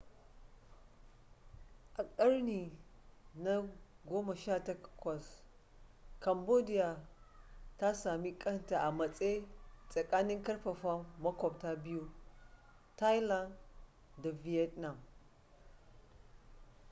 a ƙarni na 18 cambodia ta sami kanta a matse tsakanin karfafan maƙwabta biyu thailand da vietnam